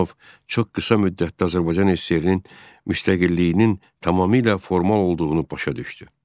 Nərimanov çox qısa müddətdə Azərbaycan SSR-nin müstəqilliyinin tamamilə formal olduğunu başa düşdü.